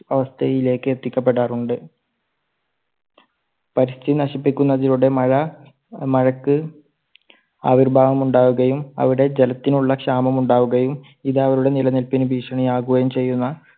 അവസ്ഥയിലേക്ക് എത്തിക്കപ്പെടാറുണ്ട്. പരിസ്ഥിതി നശിപ്പിക്കുന്നതിലൂടെ മഴ, മഴയ്ക്ക് ആവിർഭാവമുണ്ടാവുകയും അവിടെ ജലത്തിനുള്ള ക്ഷാമം ഉണ്ടാവുകയും ഇത് അവരുടെ നിലനിൽപ്പിന് ഭീഷണി ആവുകയും ചെയ്യുന്ന